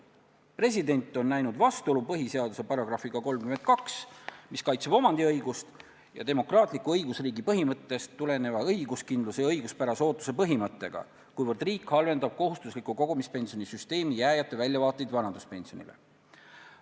President on näinud vastuolu põhiseaduse §-ga 32, mis kaitseb omandiõigust, ning demokraatliku õigusriigi põhimõttest tuleneva õiguskindluse ja õiguspärase ootuse põhimõttega, kuivõrd riik halvendab kohustuslikku kogumispensionisüsteemi jääjate väljavaateid vanaduspensionile.